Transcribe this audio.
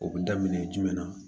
O bɛ daminɛ jumɛn na